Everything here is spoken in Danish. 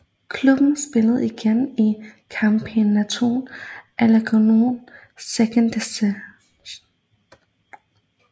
Klubben spillede igen i Campeonato Alagoano Second Division